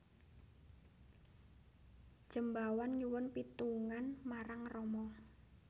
Jembawan nyuwun pitungan marang Rama